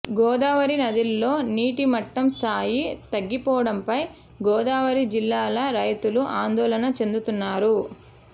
గోదావరి నదిలో నీటి మట్టం స్థాయి తగ్గిపోవడంపై గోదావరి జిల్లాల రైతులు ఆందోళన చెందుతున్నారు